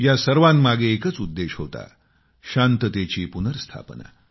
या सर्वामागे एकच उद्देश्य होता शांततेची पुनर्स्थापना